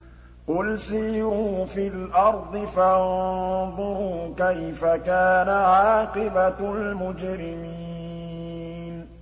قُلْ سِيرُوا فِي الْأَرْضِ فَانظُرُوا كَيْفَ كَانَ عَاقِبَةُ الْمُجْرِمِينَ